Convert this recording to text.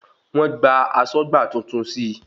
Wọ́n gba asọ́gbà tuntun sí